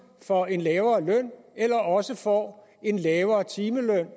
for en lavere løn eller også får en lavere timeløn